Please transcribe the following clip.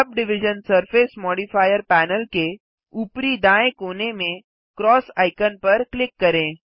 sub division surface modifier panel के ऊपरी दाएँ कोने में क्रॉस आइकन पर क्लिक करें